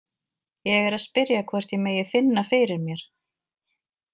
Ég er að spyrja hvort ég megi finna fyrir mér.